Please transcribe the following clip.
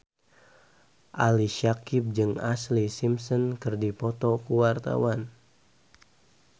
Ali Syakieb jeung Ashlee Simpson keur dipoto ku wartawan